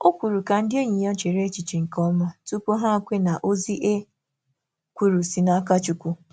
Ọ kwùrù ka ndị enyi ya chèrè echiche nke ọma tupu hà kwe na ozi e kwuru si n’aka Chukwu.